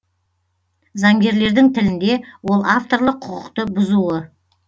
заңгерлердің тілінде ол авторлық құқықты бұзуы